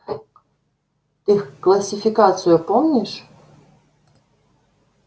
ты классификацию помнишь